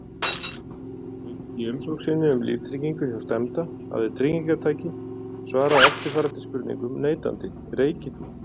Í umsókn sinni um líftryggingu hjá stefnda, hafi tryggingartaki svarað eftirfarandi spurningum neitandi: Reykir þú?